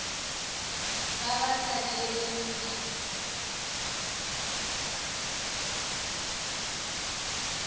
vha vha sa dzhielwi ntha